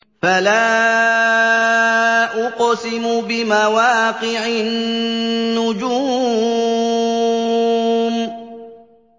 ۞ فَلَا أُقْسِمُ بِمَوَاقِعِ النُّجُومِ